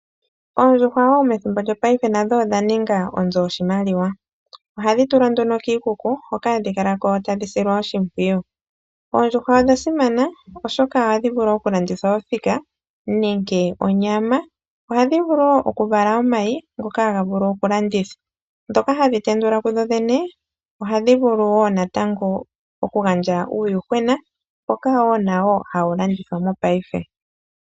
Oondjuhwa wo methimbo lyopaife nadho odha ninga wo onzo yoshimaliwa. Ohadhi tulwa nduno kiikuku hoka hadhi kala ko tadhi silwa oshimpwiyu. Oondjuhwa odha simana oshoka ohadhi vulu oku landithwa othika nenge onyama. Ohadhi vulu wo oku vala omayi ngoka haga vulu oku landithwa, ndhoka hadhi tendula ku dhodhene ohadhi vulu wo natango oku gandja uuyuhwena mboka wo nawo hawu landithwa mopaife.